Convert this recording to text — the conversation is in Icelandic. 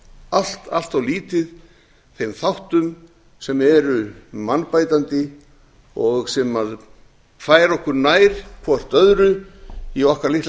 allt allt of leið þeim þáttum sem eru mannbætandi og sem færa okkur nær hvert öðru í okkar litla